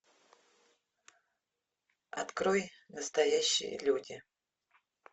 открой настоящие люди